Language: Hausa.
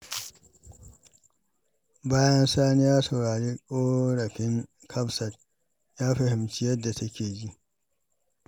Bayan Sani ya saurari ƙorafin Hafsat, ya fahimci yadda take ji.